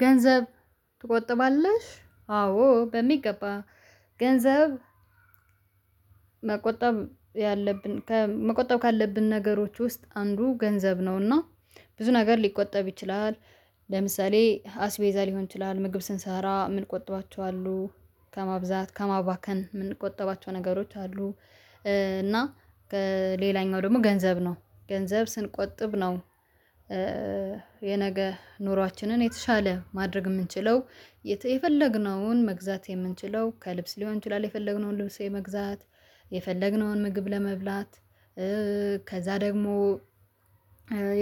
ገንዘብ ትቆጥባለሽ? አዎ በሚገባ ገንዘብ መቆጠብ ያለብን ከመቆጠብ ካለብን ነገሮች ውስጥ አንዱ ገንዘብ ነውና ብዙ ነገር ሊቆጠብ ይችላል ለምሳሌ አስቤዛ ሊሆን ይችላል ምግብ ስንሰራ ምንቆጥባቸው አሉ ከማብዛት ከማባከን የምንቆጠባቸው ነገሮች አሉ እና ሌላኛው ደግሞ ገንዘብ ነው ገንዘብ ስንቆጥብ ነው የነገ ኑሯችንን የተሻለ ማድረግ የምንችለው። የፈለግነውን መግዛት የምንችለው ከልብስ ሊሆን ይችላል የፈለግነውን ልብስ መግዛት የፈለግነውን ምግብ ለመብላት ከዚያ ደግሞ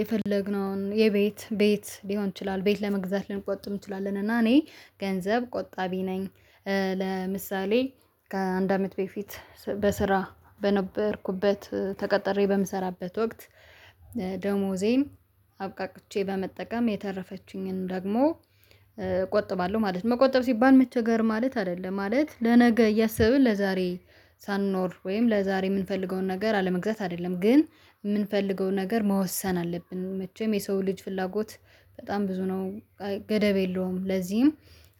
የፈለግነውን የቤት ቤት ሊሆን ይችላል ቤት ለመግዛት ልንቆጥም እንችላለን እና እኔ ገንዘብ ቆጣቢ ነኝ። ለምሳሌ ከአንድ አመት በፊት በስራ በነበርኩበት ተቀጥሬ በምሰራበት ወቅት ደሞዜም አብቃቅቼ በመጠቀም የተረፈችኝን ደግሞ እቆጥባለሁ ማለት ነው። መቆጠብ ሲባል መቸገር ማለት አይደለም ማለት ለነገ እያሰብን ለዛሬ ሳንኖር ወይም ለዛሬ የምንፈልገውን ነገር አለመግዛት አይደለም ግን የምንፈልገውን ነገር መወሰን አለብን መቼም የሰው ልጅ ፍላጎት በጣም ብዙ ነው ገደብ የለውም። ለዚህም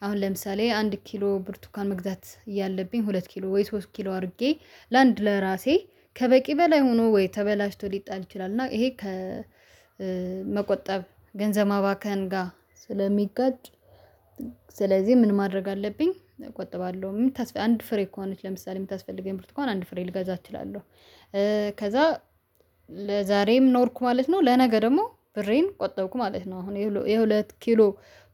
አሁን ለምሳሌ አንድ ኪሎ ብርቱካን መግዛት እያለብኝ ሁለት ኪሎ ወይ ሶስት ኪሎ አድርጌ ለአንድ ለራሴ ከበቂ በላይ ሆኖ ወይ ተበላሽቶ ሊጣል ይችላል እና ይሄ ከመቆጠብ ገንዘብ መባከን ጋር ስለሚገጭ። ስለዚህ ምን ማድረግ አለብኝ እቆጥባለሁ የምታስፈልገው አንድ ፍሬ ከሆነች ለምሳሌ የምታስፈልገኝ ብርትኩዋን አንድ ፍሬ ልገዛ እችላለሁ ከዚያ ለዛሬም ኖርኩ ማለት ነው። ለነገ ደግሞ ብሬን ቆጠብኩ ማለት ነው አሁን የሁለት ኪሎ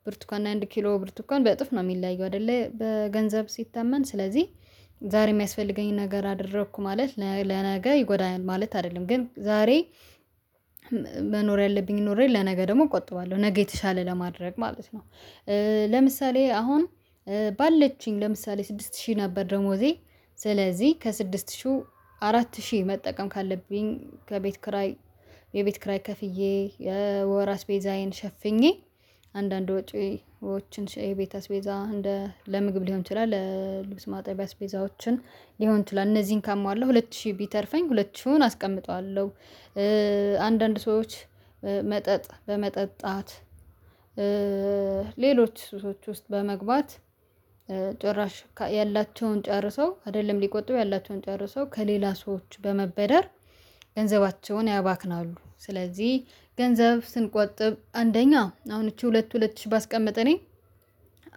ብርትካን አንድ ኪሎ ብርቱካን በእጥፍ ነው የሚለያየው አይደለ በገንዘብ ሲታመን ስለዚህ ዛሬ የሚያስፈልገኝን ነገር አደረኩ ማለት ለነገ ይጎዳኛል ማለት አይደለም ግን ዛሬ መኖር ያለብኝ ኖሬ ለነገ ደግሞ እቆጥባለሁ ነገ የተሻለ ለማድረግ ማለት ነው። ለምሳሌ አሁን ባለችኝ ለምሳሌ ስድስት ሺህ ነበር ደሞዜ ስለዚህ ከስድስት ሺህ አራት ሺህ መጠቀም ካለብኝ ከቤት ክራይ የቤት ክራይ ከፍዬ ወር አስቤዛዬን ሸፍኜ አንዳንድ ወጪዎችን የቤት አስቤዛ እንደ ለምግብ ሊሆን ይችላል ለልብስ ማጣቢያ አስቤዛዎችን ሊሆን ይችላል እነዚህን ካመዋለሁ ሁለት ሺህ ቢተርፈኝ ሁለት ሺውን አስቀምጠዋለሁ። አንዳንድ ሰዎች መጠጥ በመጠጣት ሱሶች ውስጥ በመግባት ጭራሽ ያላቸውን ጨርሰው አይደለም ሊቆጥቡ ያላቸውን ጨርሰው ከሌላ ሰዎች በመበደር ገንዘባቸውን ያባክናሉ። ስለዚህ ገንዘብ ስንቆጥብ አንደኛ አሁን እቺ ሁለት ሁለት ሺህ ባስቀመጠ እኔ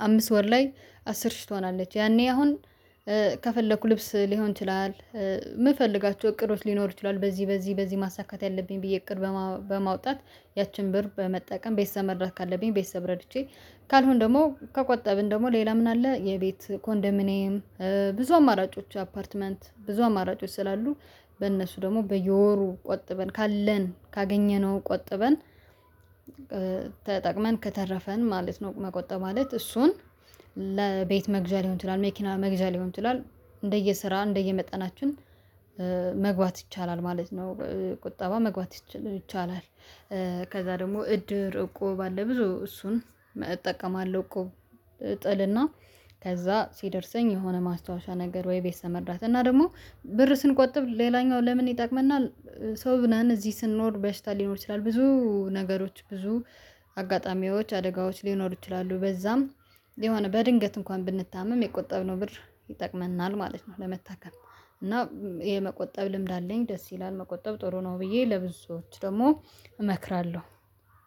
አምስት ወር ላይ አስር ሺህ ትሆናለች ያኔ አሁን ከፈለኩ ልብስ ሊሆን ይችላል የምፈልጋቸው እቅዶች ሊኖሩ ይችላሉ በዚህ በዚህ በዚህ ማሳካት ያለብኝ ብዬ እቅድ በማውጣት ያቺን ብር በመጠቀም ቤተሰብ መርዳት ካለብኝ ቤተሰብ ረድቼ ካልሆነ ደግሞ ከቆጠብን ደግሞ ሌላ ምን አለ? የቤት ኮንዶሚንያም ብዙ አማራጮች አፓርትመንት ብዙ አማራጮች ስላሉ በእነሱ ደግሞ በየወሩ ቆጥበን ካለን ካገኘነው ቆጥበን ተጠቅመን ከተረፈን ማለት ነው መቆጠብ ማለት እሱን ለቤት መግዣ ሊሆን ይችላል መኪና መግዣ ሊሆን ይችላል እንደየስራ እንደየመጠናችን መግባት ይቻላል ማለት ነው። ቁጠባ መግባት ይቻላል። ከዚያ ደግሞ እድር እቁብ አለ ብዙ እሱን እጠቀማለሁ እቁብ እጥልና ከዚያ ሲደርሰኝ የሆነ ማስታወሻ ነገር ወይ ቤተሰብ መርዳት እና ደግሞ ብር ስንቆጥብ ሌላኛው ለምን ይጠቅመናል? ሰው ምናምን እዚህ ስንኖር በሽታ ሊኖር ይችላል ብዙ ነገሮች ብዙ አጋጣሚዎች አደጋዎች ሊኖሩ ይችላሉ በዚያም የሆነ በድንገት እንኳን ብንታመም የቆጠብነው ብር ይጠቅመናል ማለት ነው። ለመታከም እና የመቆጠብ ልምድ አለኝ ደስ ይላል መቆጠብ ጥሩ ነው ብዬ ለብዙዎች ደግሞ እመክራለሁ